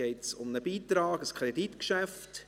Es geht um einen Beitrag, um ein Kreditgeschäft.